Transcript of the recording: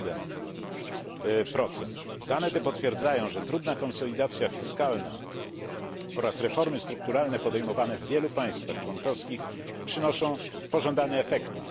2,1. Dane te potwierdzają, że trudna konsolidacja fiskalna oraz reformy strukturalne podejmowane w wielu państwach członkowskich przynoszą pożądane efekty.